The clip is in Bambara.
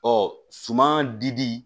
suman di